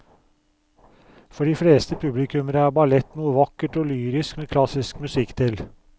For de fleste publikummere er ballett noe vakkert og lyrisk med klassisk musikk til.